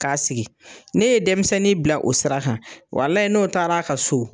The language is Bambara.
K'a sigi n'e ye denmisɛnnin bila o sira kan walayi n'o taar'a ka so